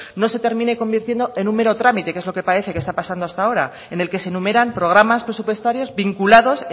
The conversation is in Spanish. no se termine convirtiendo en un mero trámite que es lo que parece que está pasando hasta ahora en el que se enumeran programas presupuestarios vinculados